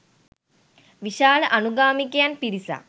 විශාල අනුගාමිකයන් පිරිසක්